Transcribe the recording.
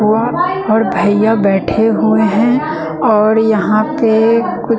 और भईया बैठे हुए है और यहां पे कु--